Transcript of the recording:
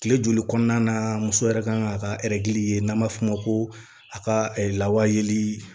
Kile joli kɔnɔna na muso yɛrɛ kan k'a ka ye n'an b'a f'o ma ko a ka lawa yeli